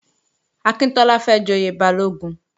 Akíntọ́lá fẹ́ joyè Balógun